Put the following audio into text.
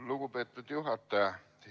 Lugupeetud juhataja!